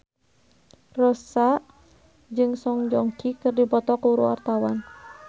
Rossa jeung Song Joong Ki keur dipoto ku wartawan